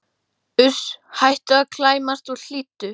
Uss, hættu að klæmast og hlýddu!